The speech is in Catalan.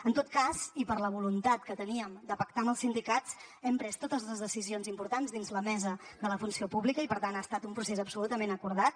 en tot cas i per la voluntat que teníem de pactar amb els sindicats hem pres totes les decisions importants dins la mesa de la funció pública i per tant ha estat un procés absolutament acordat